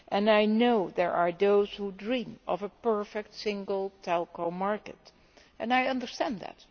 I know there are those who dream of a perfect single telecoms market, and I understand that.